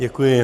Děkuji.